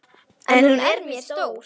En hún er mér stór.